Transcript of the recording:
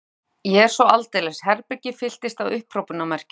Ég er svo aldeilis. Herbergið fylltist af upphrópunarmerkjum.